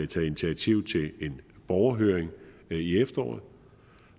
taget initiativ til en borgerhøring i efteråret